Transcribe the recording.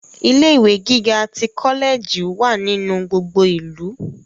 Ilé ìwé gíga tí kọlẹẹjì wà nínú gbogbo ìlú.